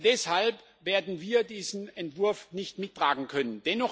Deshalb werden wir diesen Entwurf nicht mittragen können.